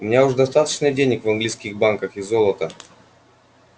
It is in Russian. у меня уже достаточно денег в английских банках и золота